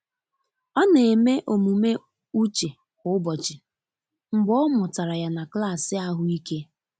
Ọ na eme omume ụche kwa ụbochi mgbe ọmutara ya na klasị ahuike.